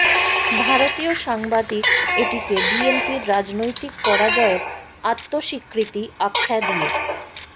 ভারতীয় সাংবাদিক এটিকে বিএনপির রাজনৈতিক পরাজয়ের আত্মস্বীকৃতি আখ্যা দিয়ে